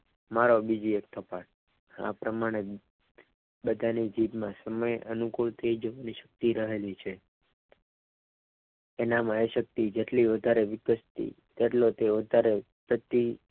મારો બીજી એક થપ્પડ આ પ્રમાણે બધાની જીભમાં સમય અનુકૂળ યુક્તિ રહેલી છ તેનામાં એ શક્તિ જેટલી વધારે વીતે એટલો તે ઉત્તર સધી